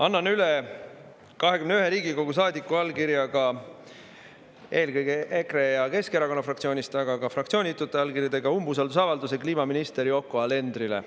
Annan üle 21 Riigikogu saadiku allkirjadega, eelkõige EKRE ja Keskerakonna fraktsiooni liikmete, aga ka fraktsioonitute saadikute allkirjadega umbusaldusavalduse kliimaminister Yoko Alenderile.